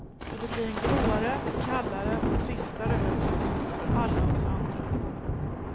Och det blir en gråare, kallare och tristare höst för alla oss andra.